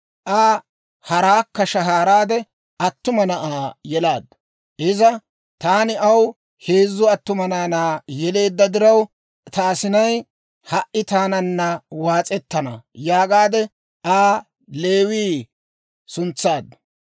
Aa haraakka shahaaraade attuma na'aa yelaaddu. Iza, «Taani aw heezzu attuma naanaa yeleedda diraw, ta asinay ha"i taananna waas'ettana» yaagaadde, Aa Leewii suntsaaddu.